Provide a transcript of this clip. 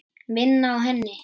Vinn á henni.